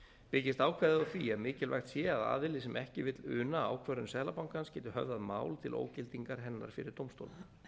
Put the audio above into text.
byggist ákvæðið á því að mikilvægt sé að aðili sem ekki vill una ákvörðun seðlabankans geti höfðað mál til ógildingar hennar fyrir dómstólum